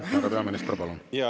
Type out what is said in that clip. Härra peaminister, palun!